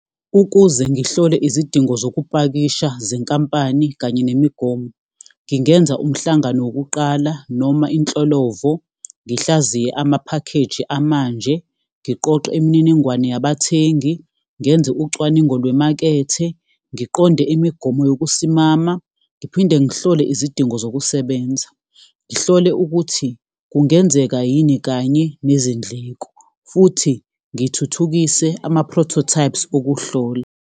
Ukuze ngihlole izidingo zokupakisha zenkampani kanye nemigomo, ngingenza umhlangano wokuqala noma inhlolovo, ngihlaziye amaphakheji amanje, ngiqoqe imininingwane yabathengi, ngenze ucwaningo lwemakethe, ngiqonde imigomo yokusimama, ngiphinde ngihlole izidingo zokusebenza. Ngihlole ukuthi kungenzeka yini kanye nezindleko, futhi ngithuthukise ama-prototypes okuhlola.